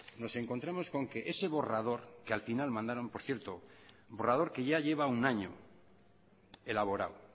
nos encontramos con que ese borrador que al final mandaron por cierto borrador que ya lleva un año elaborado